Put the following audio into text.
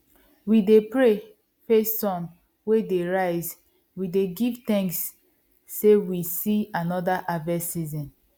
we dey pray face sun wey dey rise we dey give thanks say we see another harvest season